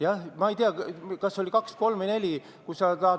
Jah, ma ei tea, kas oli kaks, kolm või neli ettepanekut.